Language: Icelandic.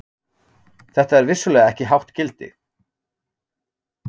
Þetta er vissulega ekki hátt gildi.